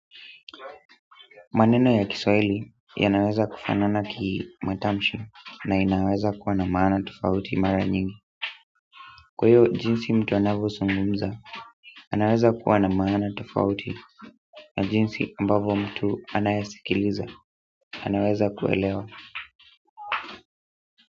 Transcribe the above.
Maneno ya kiswahili yanaweza kufanana kimatamshi na inaweza kuwa na maana tofauti mara nyingi kwa hiyo jinsi mtu anavyozungumza, anaweza kuwa na maana tofauti na jinsi ambavo mtu anayasikiliza, anaweza kuelewa.